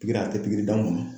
Pikiri a te pikiri ban kɔnɔ.